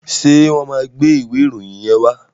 Ṣé wọ́n máa gbé ìwé ìròyìn yẹn wá?